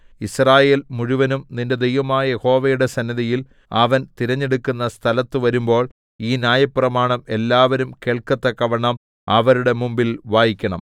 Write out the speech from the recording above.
യിസ്രായേൽ മുഴുവനും നിന്റെ ദൈവമായ യഹോവയുടെ സന്നിധിയിൽ അവൻ തിരഞ്ഞെടുക്കുന്ന സ്ഥലത്തു വരുമ്പോൾ ഈ ന്യായപ്രമാണം എല്ലാവരും കേൾക്കത്തക്കവണ്ണം അവരുടെ മുമ്പിൽ വായിക്കണം